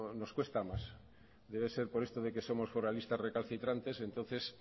nos cuesta más debe ser por esto de que somos foralistas recalcitrantes entonces